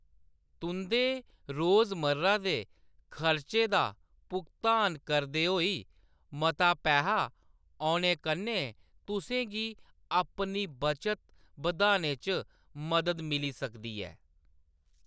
तुंʼदे रोजमर्रा दे खर्च दा भुगतान करदे होई मता पैहा औने कन्नै तुसें गी अपनी बचत बधाने च मदद मिली सकदी ऐ।